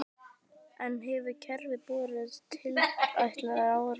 En hefur kerfið borið tilætlaðan árangur?